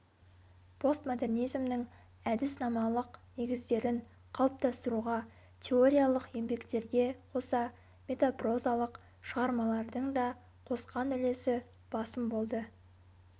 постмодернизмнің әдіснамалық негіздерін қалыптастыруға теориялық еңбектерге қоса метапрозалық шығармалардың да қосқан үлесі басым болды